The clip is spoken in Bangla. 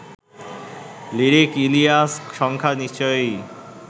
লিরিক ইলিয়াস সংখ্যা নিশ্চয়ই